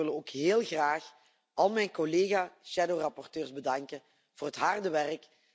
Ik wil ook heel graag al mijn collega schaduwrapporteurs bedanken voor het harde werk.